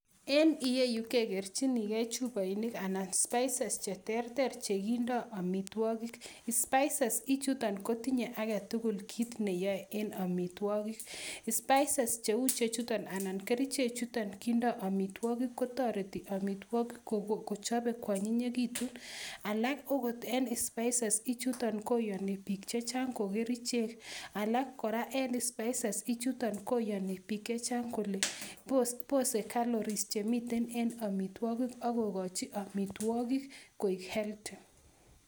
En ireyu kegerjininge chuboinik anan spices che ter ter che kichoben amitwogik. Spices ichuton kotinye age tugul kit ne yoe en amitwogik. Spices cheu ichechuton anan kerichechuto kindo amitwogik, kotoreti amitwogiik kochobe koanyinyegitu, alka agot en spices ichuton koyani biik chechang ko kerichek alak kora en spices ichu kyani biik alak kole bose calories che miten en amitwogik ak kogochi amitwogik koik healthy.